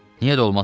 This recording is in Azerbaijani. Niyə də olmasın?